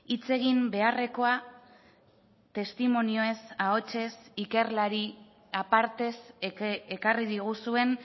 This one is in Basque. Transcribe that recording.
hitz egin beharrekoa testimonioez ahotsez ikerlari apartez ekarri diguzuen